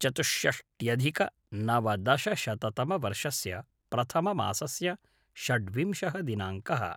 चतुष्षष्ट्यधिक नवदशशतमवर्षस्य प्रथममासस्य षड्विंशः दिनाङ्कः